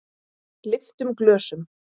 Lyftum glösum!